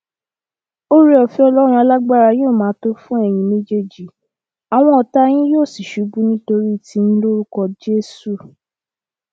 ooreọfẹ ọlọrun alágbára yóò máa tó fún ẹyin méjèèjì àwọn ọtá yín yóò sì ṣubú nítorí tiyín lórúkọ jésù